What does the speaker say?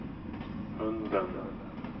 hunden